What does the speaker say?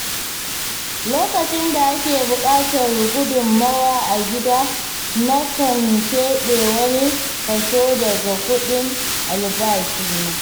Lokacin da ake buƙatar gudunmawa a gida, nakan keɓe wani kaso daga kuɗin albashina.